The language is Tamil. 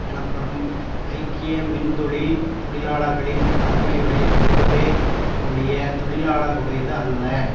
எனப்படும் ஐக்கிய மின்தொழில் தொழிலாளர்களின் தலைமையுடைய பொறுப்பே ஒழிய தொழிலாளர்களுடையது அல்ல